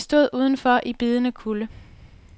De stod udenfor i bidende kulde.